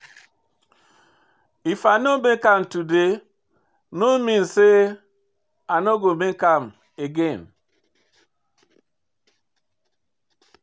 If I no make am today no mean say i no go make am again.